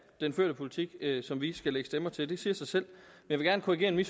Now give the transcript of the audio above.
den førte politik som vi skal lægge stemmer til det siger sig selv men jeg vil gerne